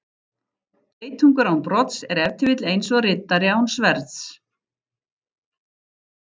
Geitungur án brodds er ef til vill eins og riddari án sverðs.